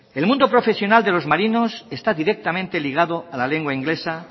el mundo profesional de los marinos está directamente ligado a la lengua inglesa